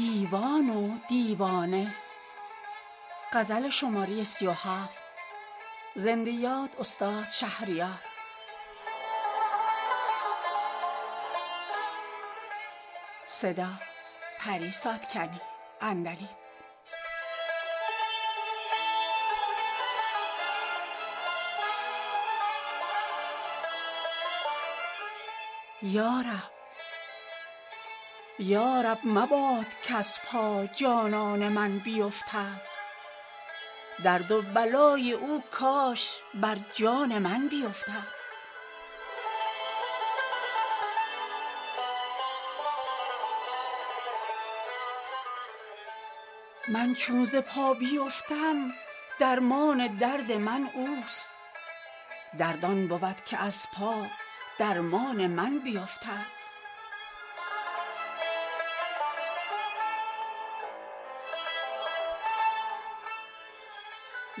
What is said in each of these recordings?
یا رب مباد کز پا جانان من بیفتد درد و بلای او کاش بر جان من بیفتد من چون ز پا بیفتم درمان درد من اوست درد آن بود که از پا درمان من بیفتد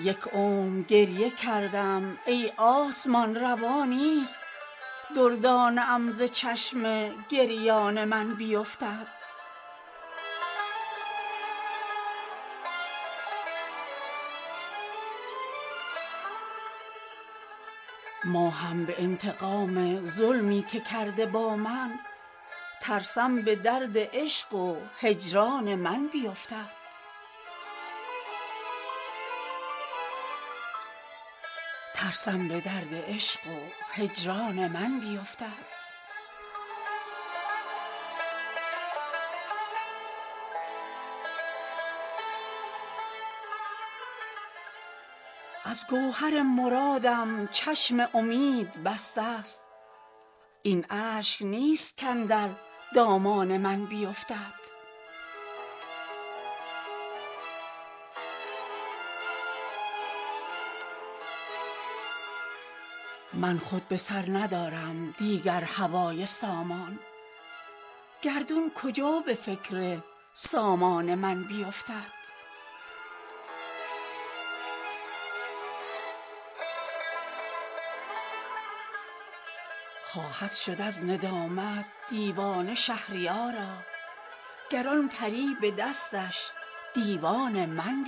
چشمم به چشمش افتاد اما نبود چشمی کز برق آن شرر در ارکان من بیفتد یک عمر گریه کردم ای آسمان روا نیست دردانه ام ز چشم گریان من بیفتد ماهم به انتقام ظلمی که کرده با من ترسم به درد عشق و هجران من بیفتد دور فلک فکنده در چاهم و عجب نیست ماهش به دور آه و فغان من بیفتد از گوهر مرادم چشم امید بسته است این اشک نیست کاندر دامان من بیفتد من خود به سر ندارم دیگر هوای سامان گردون کجا به فکر سامان من بیفتد دست خیال یازد شب در کمند مهتاب رستم اگر به چاه زندان من بیفتد خواهد شد از ندامت دیوانه شهریارا گر آن پری به دستش دیوان من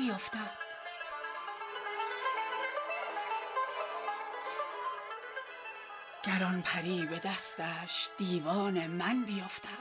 بیفتد